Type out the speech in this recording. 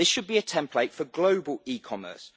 This should be a template for global e-commerce.